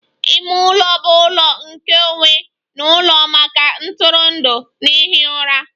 Ime ụlọ bụ ụlọ nkeonwe n'ụlọ maka ntụrụndụ na ihi ụra